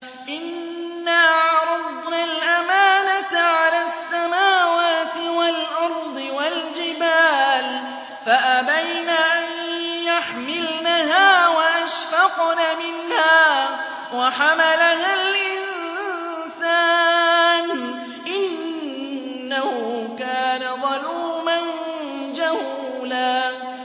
إِنَّا عَرَضْنَا الْأَمَانَةَ عَلَى السَّمَاوَاتِ وَالْأَرْضِ وَالْجِبَالِ فَأَبَيْنَ أَن يَحْمِلْنَهَا وَأَشْفَقْنَ مِنْهَا وَحَمَلَهَا الْإِنسَانُ ۖ إِنَّهُ كَانَ ظَلُومًا جَهُولًا